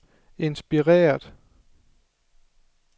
inspireret